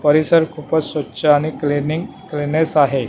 परिसर खूपच स्वच्छ आणि क्लिनिंग क्लिनेस आहे.